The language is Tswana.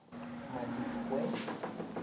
madikwe